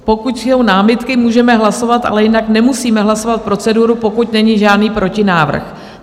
Pokud jsou námitky, můžeme hlasovat, ale jinak nemusíme hlasovat proceduru, pokud není žádný protinávrh.